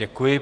Děkuji.